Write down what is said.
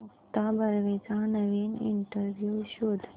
मुक्ता बर्वेचा नवीन इंटरव्ह्यु शोध